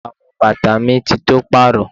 Àwọn bàtà mi ti tó pàrọ.